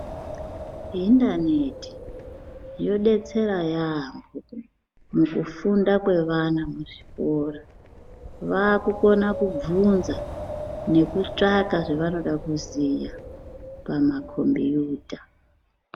Hindaneti yodetsera yambo mujufunda kwevana muzvikora. Vakukona kubvunza nekutsvaka zvevanoda kuziya pamakombiyuta.